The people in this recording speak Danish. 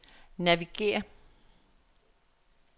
navigér